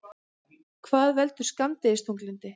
Hvað veldur skammdegisþunglyndi?